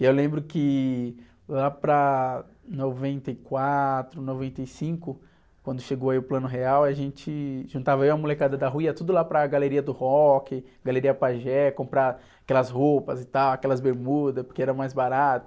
E eu lembro que lá para noventa e quatro, noventa e cinco, quando chegou aí o Plano Real, a gente juntava aí a molecada da rua, ia tudo lá para galeria do rock, galeria Pajé, comprar aquelas roupas e tal, aquelas bermudas, porque era mais barato.